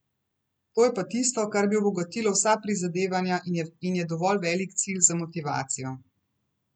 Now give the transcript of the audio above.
To je pa tisto, kar bi obogatilo vsa prizadevanja in je dovolj velik cilj za motivacijo.